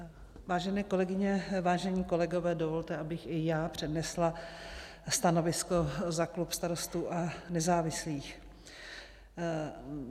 Vážené kolegyně, vážení kolegové, dovolte, abych i já přednesla stanovisko za klub Starostů a nezávislých.